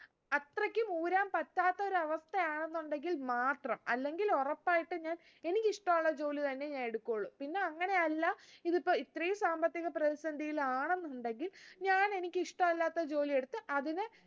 അത്രയ്ക്കും ഊരാൻ പറ്റാത്ത ഒരവസ്ഥയാണെന്നുണ്ടെങ്കിൽ മാത്രം അല്ലെങ്കിൽ ഉറപ്പായിട്ടും എനിക്കിഷ്ട്ടുള്ള ജോലി തന്നെ ഞാൻ എടുക്കുള്ളു പിന്നെ അങ്ങനെയല്ല ഇതിപ്പൊ ഇത്രേം സാമ്പത്തിക പ്രതിസന്ധിയിലാണെന്നുണ്ടെങ്കിൽ ഞാൻ എനിക്ക് ഇഷ്ടല്ലാത്ത ജോലി എടുത്ത് അതിനെ